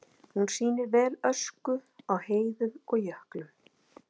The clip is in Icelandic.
Hún sýnir vel ösku á heiðum og jöklum.